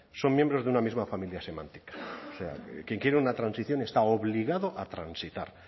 son miembros de una misma familia semántica o sea quien quiere una transición está obligado a transitar